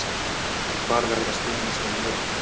Hvar verða stuðningsmenn liðanna.